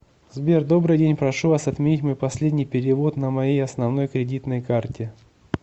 сбер добрый день прошу вас отменить мой последний перевод на моей основной кредитной карте